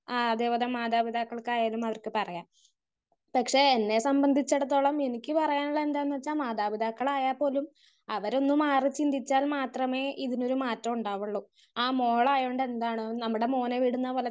Speaker 1 ആഹ് അതേ പോലെ മാതാപിതാക്കൾക്കായാലും അവർക്ക് പറയാം. പക്ഷെ എന്നെ സംബന്ധിച്ചിടത്തോളം എനിക്ക് പറയാനുള്ളത് എന്താണെന്ന് വെച്ചാൽ മാതാപിതാക്കളായാൽ പോലും അവരൊന്ന് മാറി ചിന്തിച്ചാൽ മാത്രമേ ഇതിനൊരു മാറ്റമുണ്ടാവൊള്ളൂ. അത് മോളായാലും എന്താവും നമ്മുടെ മോനെ വിടുന്നത് പോലെ തന്നെ,